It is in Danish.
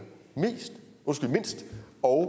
mindst og